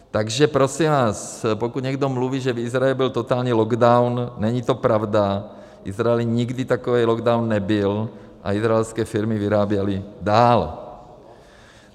Takže prosím vás, pokud někdo mluví, že v Izraeli byl totální lockdown, není to pravda, v Izraeli nikdy takový lockdown nebyl a izraelské firmy vyráběly dál.